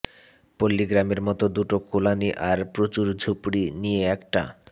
পল্লিগ্রামের মতো দুটো কলোনি আর প্রচুর ঝুপড়ি নিয়ে একটা